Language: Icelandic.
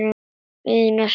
Ína, svaraði hún.